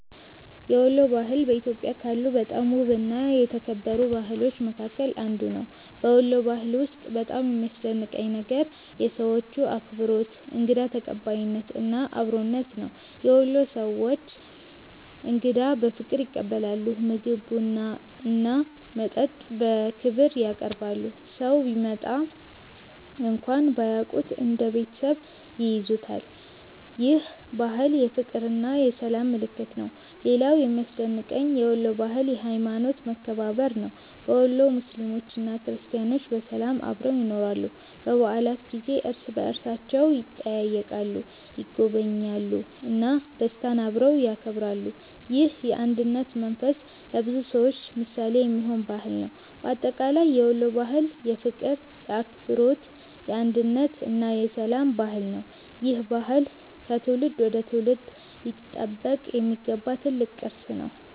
የወሎ ባህል በኢትዮጵያ ካሉ በጣም ውብና የተከበሩ ባህሎች መካከል አንዱ ነው። በወሎ ባህል ውስጥ በጣም የሚያስደንቀኝ ነገር የሰዎቹ አክብሮት፣ እንግዳ ተቀባይነት እና አብሮነት ነው። የወሎ ሰዎች እንግዳን በፍቅር ይቀበላሉ፤ ምግብ፣ ቡና እና መጠጥ በክብር ያቀርባሉ። ሰው ቢመጣ እንኳን ባያውቁት እንደ ቤተሰብ ይይዙታል። ይህ ባህል የፍቅርና የሰላም ምልክት ነው። ሌላው የሚያስደንቀኝ የወሎ ባህል የሀይማኖት መከባበር ነው። በወሎ ሙስሊሞችና ክርስቲያኖች በሰላም አብረው ይኖራሉ። በበዓላት ጊዜ እርስ በእርሳቸው ይጠያየቃሉ፣ ይጎበኛሉ እና ደስታን አብረው ያከብራሉ። ይህ የአንድነት መንፈስ ለብዙ ሰዎች ምሳሌ የሚሆን ባህል ነው። በአጠቃላይ የወሎ ባህል የፍቅር፣ የአክብሮት፣ የአንድነት እና የሰላም ባህል ነው። ይህ ባህል ከትውልድ ወደ ትውልድ ሊጠበቅ የሚገባው ትልቅ ቅርስ ነው።